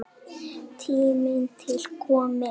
Tími til kominn.